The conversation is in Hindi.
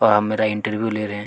वह मेरा इंटरव्यू ले रहे है।